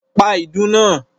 Pa ìdùnnú náà!